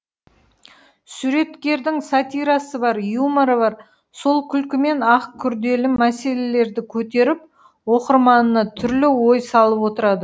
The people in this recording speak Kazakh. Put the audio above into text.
суреткердің сатирасы бар юморы бар сол күлкімен ақ күрделі мәселелерді көтеріп оқырманына түрлі ой салып отырады